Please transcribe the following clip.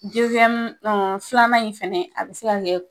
filanan in fɛnɛ a bɛ se ka kɛ